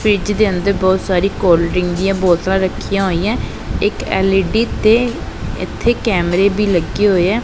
Fridge ਦੇ ਅੰਦਰ ਬਹੁਤ ਸਾਰੀ ਕੋਲਡ ਡਰਿੰਕ ਦੀਆਂ ਬੋਤਲਾਂ ਰੱਖੀਆਂ ਹੋਈਆਂ ਇੱਕ ਐਲ_ਈ_ਡੀ ਤੇ ਇਥੇ ਕੈਮਰੇ ਵੀ ਲੱਗੇ ਹੋਏ ਆ।